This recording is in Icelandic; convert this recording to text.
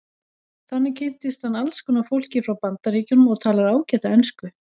Þannig kynntist hann alls konar fólki frá Bandaríkjunum og talar ágæta ensku.